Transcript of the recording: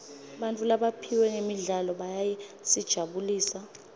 bantfu labaphiwe ngemidlalo bayasijabulisa